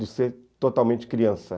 de ser totalmente criança.